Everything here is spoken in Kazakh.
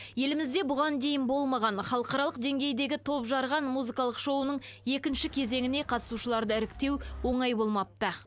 елімізде бұған дейін болмаған халықаралық деңгейдегі топжарған музыкалық шоуының екінші кезеңіне қатысушыларды іріктеу оңай болмапты